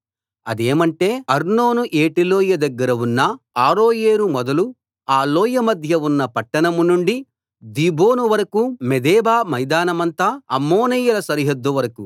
అదేమంటే అర్నోను ఏటిలోయ దగ్గర ఉన్న అరోయేరు మొదలు ఆ లోయమధ్య ఉన్న పట్టణం నుండి దీబోను వరకూ మేదెబా మైదానమంతా అమ్మోనీయుల సరిహద్దు వరకూ